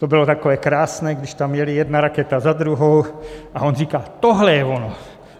To bylo takové krásné, když tam jely jedna raketa za druhou, a on říká: Tohle je ono.